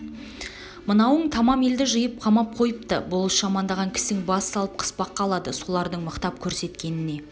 мынауың тамам елді жиып қамап қойыпты болыс жамандаған кісін бас салып қыспаққа алады солардың мықтап көрсеткеніне